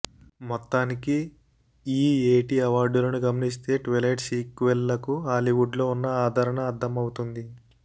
మొత్తానికి ఈ ఏటి అవార్డులను గమనిస్తే ట్విలైట్ సీక్వెల్లకు హాలీవుడ్ లో ఉన్న ఆదరణ అర్థమవుతుంది